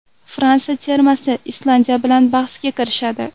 Fransiya termasi Islandiya bilan bahsga kirishadi.